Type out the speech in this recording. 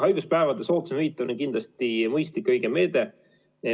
Haiguspäevade soodsam hüvitamine on kindlasti mõistlik ja õige meede.